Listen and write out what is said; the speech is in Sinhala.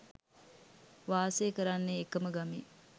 වාසය කරන්නේ එකම ගමේ